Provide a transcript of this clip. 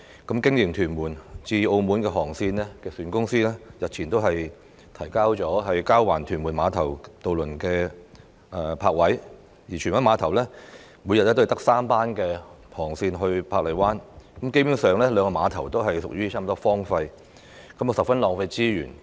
經營屯門至澳門航線的營辦商日前亦提出交還屯門碼頭渡輪泊位的請求，而荃灣碼頭每天亦只有3班航班前往珀麗灣，兩個碼頭基本上幾近荒廢，十分浪費資源。